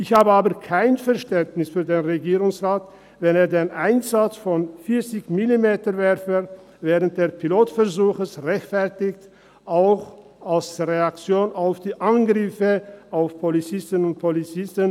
Ich habe aber kein Verständnis für den Regierungsrat, wenn er den Einsatz von 40-MillimeterWerfern während des Pilotversuchs rechtfertig, auch als Reaktion auf die Angriffe auf Polizistinnen und Polizisten.